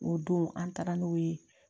O don an taara n'o ye